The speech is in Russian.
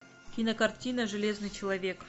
кинокартина железный человек